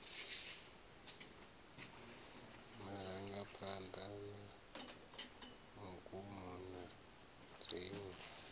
marangaphanḓa na magumo na dziṅwe